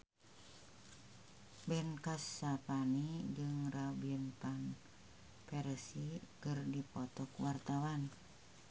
Ben Kasyafani jeung Robin Van Persie keur dipoto ku wartawan